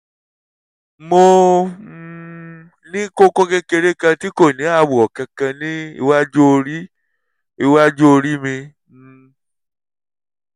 mo um ní kókó kékeré kan tí kò ní àwọ̀ kankan ní iwájú orí iwájú orí mi um